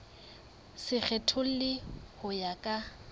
se kgethollwe ho ya ka